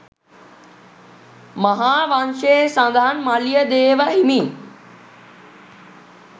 මහාවංශයේ සඳහන් මලියදේව හිමි